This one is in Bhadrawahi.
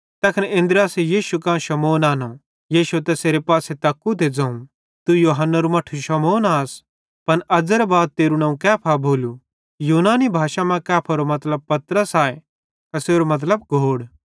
तैखन अन्द्रियासे यीशु कां शमौन आनो यीशुए तैसेरे पासे तक्कू ते ज़ोवं तू यूहन्नेरू मट्ठू शमौन आस पन अज़्ज़ेरे बाद तेरू नवं कैफा भोलू यूनानी भाषाई मां कैफारो मतलब पतरस आए एसेरो मतलब घोड़